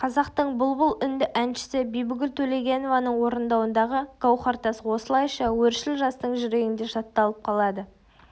қазақтың бұлбұл үнді әншісі бибігүл төлегенованың орындауындағы гауһартас осылайша өршіл жастың жүрегінде жатталып қалады